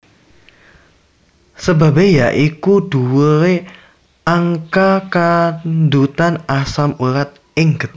Sebabe ya iku dhuwure angka kandhutan asam urat ing getih